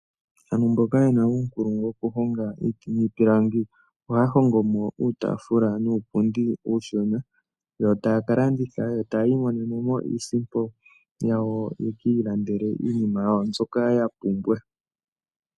Aantu mboka yena uunkulungu wokuhonga iiti niipilangi, ohaya hongomo uutaafula nuupundi uushona, yo taya kalanditha opo yiimonenemo iisimpo, yavule yekiilandele iinima yawo mbyoka yapumbwa.